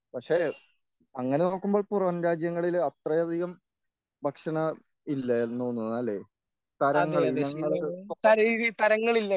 പക്ഷേ അങ്ങനെ നോക്കുമ്പോൾ പുറംരാജ്യങ്ങളിൽ അത്രയധികം ഭക്ഷണം ഇല്ലെന്നു തോന്നുന്നു അല്ലേ തരങ്ങള് ഇനങ്ങള്